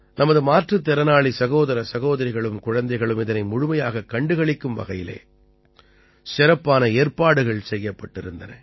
நமது மாற்றுத் திறனாளி சகோதர சகோதரிகளும் குழந்தைகளும் இதனை முழுமையாகக் கண்டுகளிக்கும் வகையில் சிறப்பான ஏற்பாடுகள் செய்யப்பட்டிருந்தன